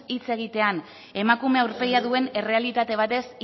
hitz egitean emakume aurpegia duen errealitate batez